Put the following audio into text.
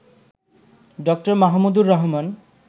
ড. মাহমুদুর রহমান